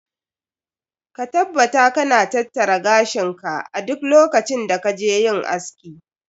Ka taabbata ka na tattara gashin ka a duk lokacin da ka je yin aski.